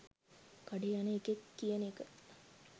කඩේ යන එකෙක් කියන එක